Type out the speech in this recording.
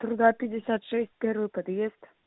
труда двести пятьдесят шесть первый подъезд